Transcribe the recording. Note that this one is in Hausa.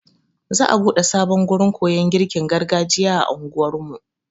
Za'a buɗe sabon gurin koyon girkin gargajiya a anguwar mu.